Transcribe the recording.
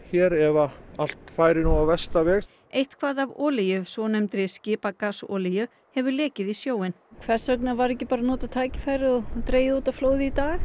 ef allt færi á versta veg eitthvað af olíu svonefndri skipagasolíu hefur lekið í sjóinn hvers vegna var ekki notað tækifæri og dregið út á flóði í dag